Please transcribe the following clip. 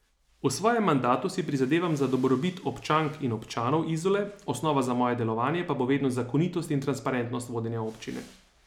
V svojem mandatu si prizadevam za dobrobit občank in občanov Izole, osnova za moje delovanje pa bo vedno zakonitost in transparentnost vodenja Občine.